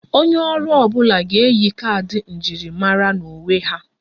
Onye ọrụ ọ bụla ga-eyi kaadị njirimara na uwe ha